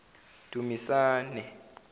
dumisane